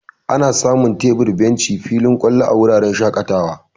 Ana samun tebur, benci, filin ƙwalo, a wuraren shaƙatawa.